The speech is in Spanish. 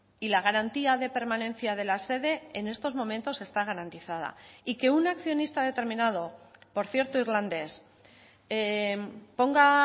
y la garantía de permanencia de la sede en estos momentos está garantizada y que un accionista determinado por cierto irlandés ponga